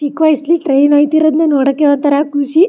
ಚಿಕ್ಕ ವ್ಯಸ್ಲಿ ಟ್ರೈನ್ ಆಯ್ತಿರೋದ್ನ್ ನೋಡೋಕೆ ಹೊತ್ತರೆ ಖುಷಿ.